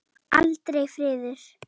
Aldrei friður.